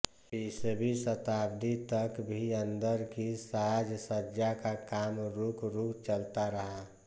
बीसवीं शताब्दी तक भी अंदर की साज सज्जा का काम रूक रूक चलता रहा